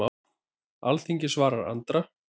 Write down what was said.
Alþingi svarar Andra